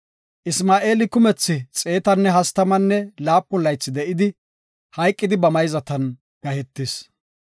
Isma7eeli kumethi xeetanne hastamanne laapun laythi de7idi, hayqidi ba mayzatan gahetis.